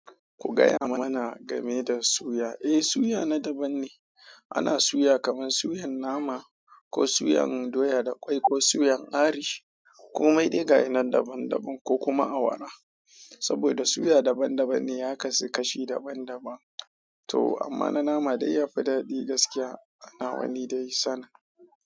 Ku gaya mana game da suya. Eh, suya na daban ne. Ana suya kamar suyan nama ko suyan doya da ƙwai ko suyan arish komai dai ga yanan daban-daban ko kuma awara. Saboda suya daban-daban ne ya kasu kashi daban-daban. To amma na nama dai ya fi daɗi gaskiya. Ana wani dai san.